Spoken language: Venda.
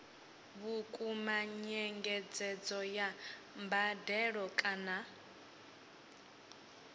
vhukuma nyengedzedzo ya mbadelo kana